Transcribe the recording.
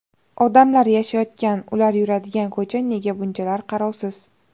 Odamlar yashayotgan, ular yuradigan ko‘cha nega bunchalar qarovsiz?